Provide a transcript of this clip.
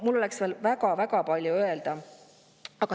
Mul oleks veel väga-väga palju öelda.